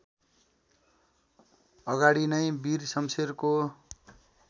अगाडि नै वीर शमशेरको